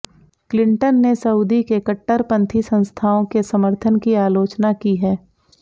Clinton ने Saudi के कट्टरपंथी संस्थाओं के समर्थन की आलोचना की है